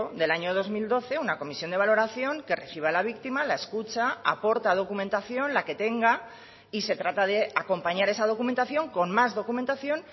del año dos mil doce una comisión de valoración que reciba a la víctima la escucha aporta documentación la que tenga y se trata de acompañar esa documentación con más documentación